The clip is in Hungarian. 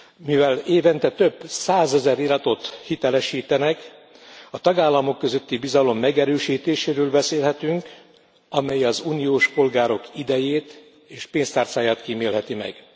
Mivel évente többszázezer iratot hitelesítenek, a tagállamok közötti bizalom megerősítéséről beszélhetünk, amely az uniós polgárok idejét és pénztárcáját kímélheti meg.